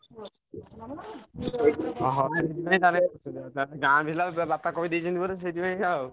ଅହ ସେଇଥି ପାଇଁ ତାହେଲେ ତାଙ୍କୁ ଗାଁ ପିଲା ବାପା କହିଦେଇଛନ୍ତି ବୋଧେ ସେଇଥି ପାଇଁ ସେଇଆ ଆଉ।